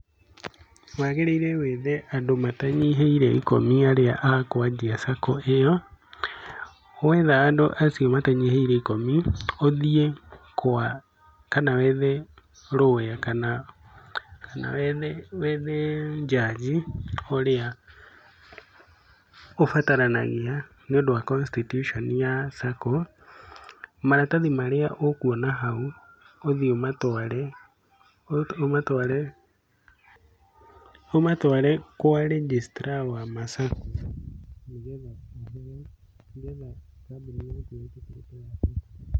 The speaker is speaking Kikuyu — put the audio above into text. Wagĩrĩire wethe andũ matanyihĩire ikũmi arĩa akũanjia cako ĩyo. Wetha andũ acio matanyihĩire ikumi, ũthiĩ kwa kana wethe lawyer kana wethe judge ũrĩa ũbataranagia nĩ ũndu wa constitution ya cako. Maratathi marĩa ũkuona hau ũthiĩ ũmatware, ũmatware kwa registrar wa ma cako nĩ getha kambuni yaku ĩtĩkĩrĩke.